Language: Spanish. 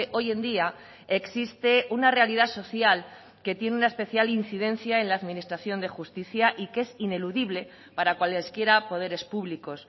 hoy en día existe una realidad social que tiene una especial incidencia en la administración de justicia y que es ineludible para cuales quiera poderes públicos